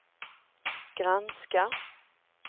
granska